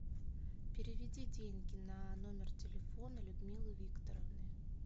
переведи деньги на номер телефона людмилы викторовны